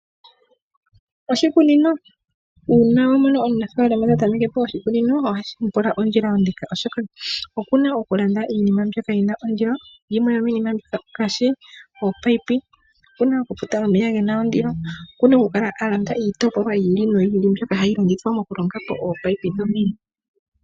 Uuna wa mono omunafalama ta tameke po oshikunino ohashi mu pula ondjila ondeka, oshoka okuna okulanda iinima mbyoka yina ondilo. Yimwe yomiinima mbyoka ongaashi ominino, okuna okufuta omeya gena ondilo. Okuna okukala alanda iitopolwa yi ili noyi ili mbyoka hayi longithwa mokulonga po ominino dhomeya.